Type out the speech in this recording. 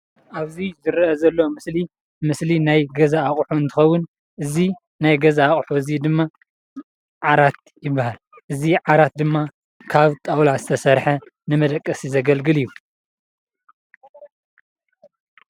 ኣብ እዚ ዝርአ ዘሎ ስእሊ ምስሊ ናይ ገዛ ኣቁሑ እንትከውን እዚ ናይ ገዛ ኣቁሑት እዚ ድማ ዓራት ይብሃል:: እዚ ዓራት ድማ ካብ ጣውላ ዝተሰርሐ ንመደቀሲ ዘግልግል እዩ።